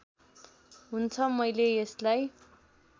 हुन्छ मैले यसलाई